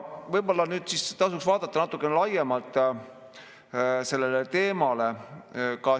Võib-olla tasuks vaadata natukene laiemalt sellele teemale.